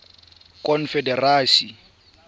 confederacy